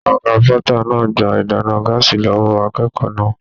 Ọgá pọta náà gbà ìdáná gàásí lọwọ akékòó náà.